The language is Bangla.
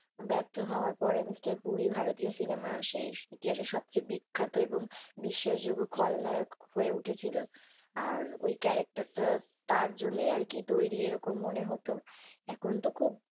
ব্যর্থ হওয়ার পরে mr puri ভারতীয় সিনেমার শেষ ইতিহাস সবচেয়ে বিখ্যাত এবং বিশ্বাসযোগ্য খলনায়ক হয়ে উঠে ছিল আর ওই character টা তার জন্যই আর কি তৈরী মনে হোত এখন তো খুব,